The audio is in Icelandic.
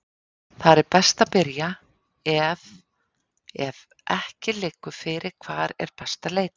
Þar er best að byrja ef ef ekki liggur fyrir hvar er best að leita.